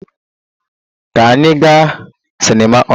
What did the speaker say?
Ka anyị gaa cinema ọnụ!